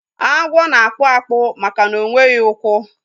Agwo na-akpụ akpụ maka na ọnweghi ukwu